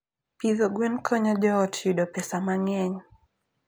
Pidho gwen konyo joot yudo pesa mang'eny.